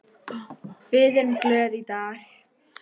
Við erum glöð í dag.